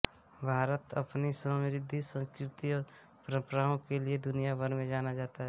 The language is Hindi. भारत अपनी समृद्ध संस्कृति और परंपराओं के लिए दुनिया भर में जाना जाता है